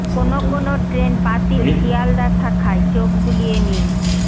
কোন কোন ট্রেন বাতিল শিয়ালদা শাখায় চোখ বুলিয়ে নিন